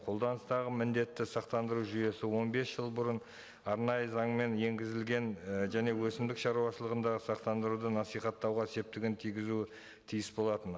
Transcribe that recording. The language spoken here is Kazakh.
қолданыстағы міндетті сақтандыру жүйесі он бес жыл бұрын арнайы заңмен енгізілген і және өсімдік шаруашылығындағы сақтандыруды насихаттауға септігін тигізуі тиіс болатын